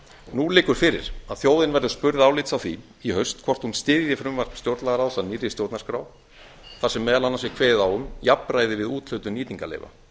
nú liggur fyrir að þjóðin verður spurð álits á því í haust hvort hún styðji frumvarp stjórnlagaráðs að nýrri stjórnarskrá þar sem meðal annars er kveðið á um jafnræði við úthlutun nýtingarleyfa